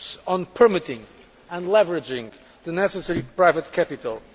on permitting and leveraging the necessary private capital.